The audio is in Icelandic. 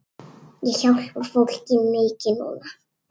Ég hjálpa fólki mikið núna.